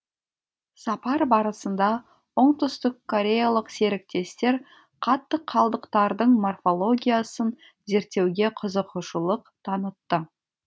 сапар барысында оңтүстіккореялық серіктестер қатты қалдықтардың морфологиясын зерттеуге қызығушылық танытты